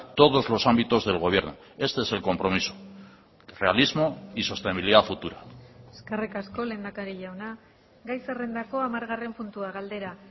todos los ámbitos del gobierno este es el compromiso realismo y sostenibilidad futura eskerrik asko lehendakari jauna gai zerrendako hamargarren puntua galdera